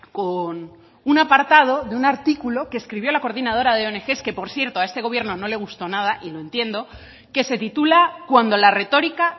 con una apartado de un artículo que escribió la coordinadora de ong que por cierto a este gobierno no le gustó nada y lo entiendo que se titula cuando la retórica